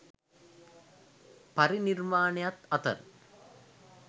පරිනිර්වාණයත් අතර